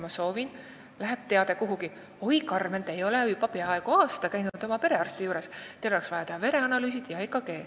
Samamoodi ütleb arvuti mulle: "Oi, Karmen, te ei ole juba peaaegu aasta käinud oma perearsti juures, teil oleks vaja teha vereanalüüsid ja EKG.